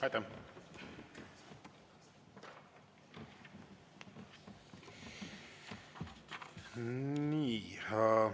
Aitäh!